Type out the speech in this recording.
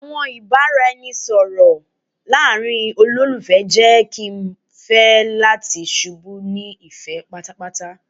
Awọn ibaraẹnisọrọ laarin awọn ololufẹ jẹ ki emi fẹ lati ṣubu ni ifẹ paapaa